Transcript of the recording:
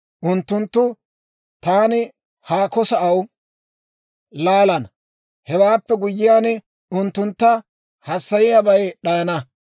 Unttuntta taani haako sa'aa laalana; hewaappe guyyiyaan, unttuntta hassayiyaabay d'ayana.